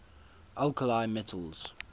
alkali metals